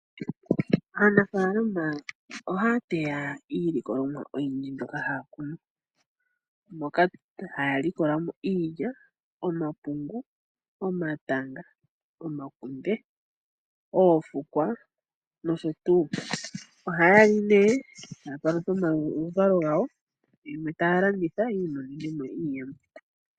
Aanafaalama ohaya teya iilikolomwa oyindji mbyoka haya kunu. Moka haya likola mo iilya, omapungu, omatanga, omakunde, oofukwa nosho tuu. Ohaya li nee, taya palutha omaluvalo gawo, yimwe taya landitha yi imonene mo iiyemo.